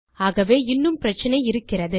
ஆகவே இன்னும் பிரச்சினை இருக்கிறது